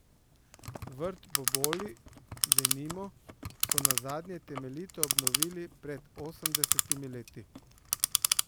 Vrt Boboli, denimo, so nazadnje temeljito obnovili pred osemdesetimi leti.